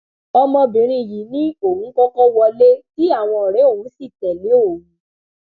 ọmọbìnrin yìí ni òun kọkọ wọlé tí àwọn ọrẹ òun sì tẹlé òun